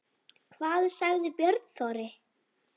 Hvað sagði Björn Þorri?